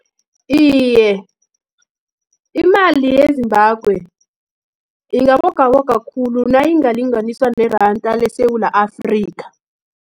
Iye, imali ye-Zimbabwe, ingabogaboga khulu, nayingalinganiswa neranda leSewula Afrika.